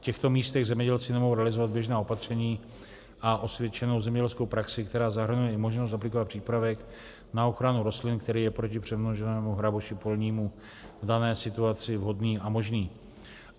V těchto místech zemědělci nemohou realizovat běžná opatření a osvědčenou zemědělskou praxi, která zahrnuje i možnost aplikovat přípravek na ochranu rostlin, který je proti přemnoženému hraboši polnímu v dané situaci vhodný a možný.